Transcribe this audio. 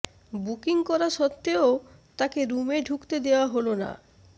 booking করা সত্ত্বেও তাকে রুমে ঢুকতে দেওয়া হল না